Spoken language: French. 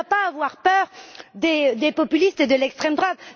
Elle ne doit pas avoir peur des populistes et de l'extrême droite.